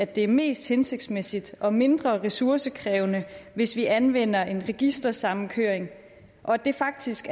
det er mest hensigtsmæssigt og mindre ressourcekrævende hvis vi anvender en registersammenkøring og det er faktisk